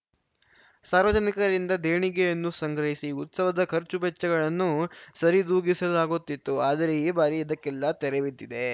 ಸಾರ್ವಜನಿಕರಿಂದ ದೇಣಿಗೆಯನ್ನೂ ಸಂಗ್ರಹಿಸಿ ಉತ್ಸವದ ಖರ್ಚುವೆಚ್ಚಗಳನ್ನು ಸರಿದೂಗಿಸಲಾಗುತ್ತಿತ್ತು ಆದರೆ ಈ ಬಾರಿ ಇದಕ್ಕೆಲ್ಲಾ ತೆರೆಬಿದ್ದಿದೆ